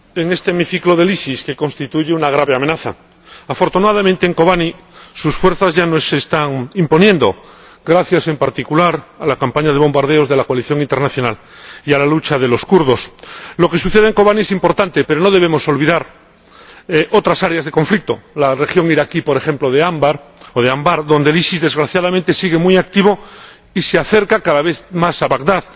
Señor Presidente, de nuevo tenemos que hablar en este hemiciclo del EI, que constituye una grave amenaza. Afortunadamente, en Kobane sus fuerzas ya no se están imponiendo, gracias en particular a la campaña de bombardeos de la coalición internacional y a la lucha de los kurdos. Lo que sucede en Kobane es importante, pero no debemos olvidar otras áreas de conflicto la región iraquí, por ejemplo la de Ambar, donde el EI desgraciadamente sigue muy activo y se acerca cada vez más a Bagdad.